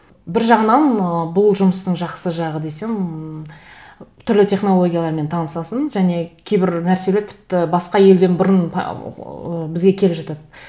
бір жағынан ы бұл жұмыстың жақсы жағы десем түрлі технологиялармен танысасың және кейбір нәрселер тіпті басқа елден бұрын ыыы бізге келе жатады